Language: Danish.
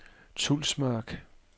Tulsmark